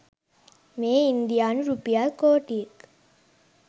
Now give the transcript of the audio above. මෙය ඉන්දියානු රුපියල් කෝටික්